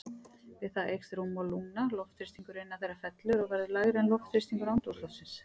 Við það eykst rúmmál lungna, loftþrýstingur innan þeirra fellur og verður lægri en loftþrýstingur andrúmsloftsins.